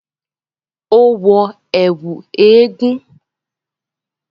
Ó wọ ẹ̀kú eégún